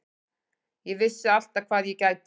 Ég vissi alltaf hvað ég gæti.